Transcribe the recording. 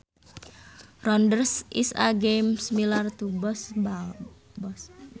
Rounders is a game similar to baseball